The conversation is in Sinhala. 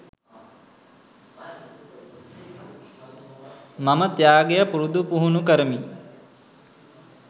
මම ත්‍යාගය පුරුදු පුහුණු කරමි